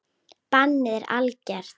Bannið er algert.